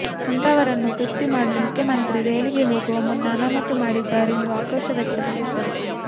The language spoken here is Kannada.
ಅಂತಹವರನ್ನು ತೃಪ್ತಿ ಮಾಡಲು ಮುಖ್ಯಮಂತ್ರಿ ದೆಹಲಿಗೆ ಹೋಗುವ ಮುನ್ನ ಅಮಾನತು ಮಾಡಿದ್ದಾರೆ ಎಂದು ಆಕ್ರೋಶ ವ್ಯಕ್ತಪಡಿಸಿದರು